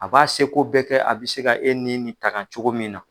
A b'a seko bɛɛ kɛ a bɛ se ka e ni nin nin tanga cogo min na.